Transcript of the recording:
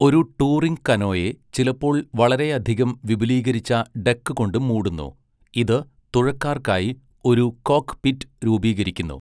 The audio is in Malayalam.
ഒരു ടൂറിംഗ് കനോയെ ചിലപ്പോൾ വളരെയധികം വിപുലീകരിച്ച ഡെക്ക് കൊണ്ട് മൂടുന്നു, ഇത് തുഴക്കാർക്കായി ഒരു 'കോക്ക്പിറ്റ്' രൂപീകരിക്കുന്നു.